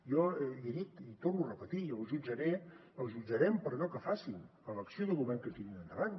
jo l’hi he dit i ho torno a repetir jo els jutjaré els jutjarem per allò que facin per l’acció de govern que tirin endavant